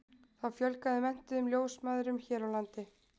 Þá fjölgaði menntuðum ljósmæðrum hér á landi.